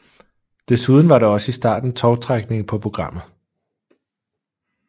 Desuden var der også i starten tovtrækning på programmet